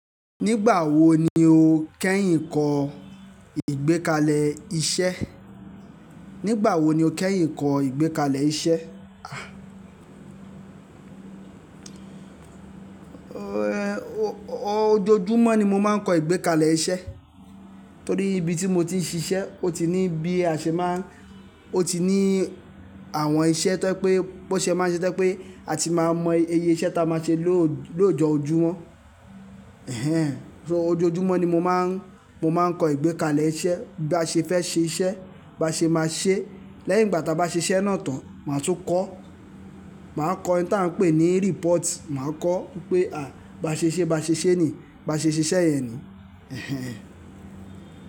Nígbà wo ni o kẹ́yìn kọ ìgbékalẹ̀ iṣẹ́? Nígbà wo ni o kẹ́yìn kọ ìgbékalẹ̀ iṣẹ́? Ojoojúmọ́ ni mo máa ń kọ ìgbékalẹ̀ iṣẹ́. Torí ibi tí mo ti ń ṣiṣẹ́, ó ti ní bí a ṣe máa ń, ó ti ní àwọn iṣẹ́ tó jé pé bó ṣe máa ń ṣe to je pé a ti máa mọ iye iṣẹ́ tí a máa ṣe ló-lóojo-ojúmọ́. Ẹ̀hẹn. So ojoojúmọ́ ni mo máa ń, mo máa ń kọ ìgbékalẹ̀ iṣẹ́. Bí a ṣe fẹ́ ṣe iṣẹ́, bá ṣe máa ṣe. Lẹ́yìn ìgbà tí a bá ṣe iṣẹ́ náà tán, máa tun kọ. Màá kọ ohun tí a ń pè ní report. Màá kọ pé à, bá ṣe ṣe bá ṣe ṣé ni, bá ṣe ṣe iṣẹ́ yẹn ni. Ẹ̀hẹn.